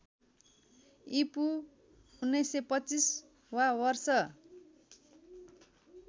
ईपू ९२५ वा वर्ष